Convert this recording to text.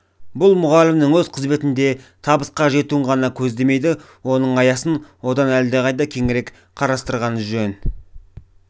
бұл мұғалімнің өз қызметінде табысқа жетуін ғана көздемейді оның аясын одан әлдеқайда кеңірек қарастырған жөн